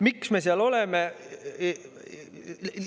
Miks me seal oleme?